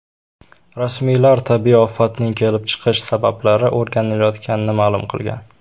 Rasmiylar tabiiy ofatning kelib chiqish sabablari o‘rganilayotganini ma’lum qilgan.